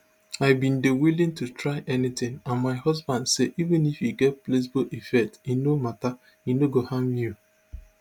i bin dey willing to try anytin and my husband say even if e get placebo effect e no mata e no go harm you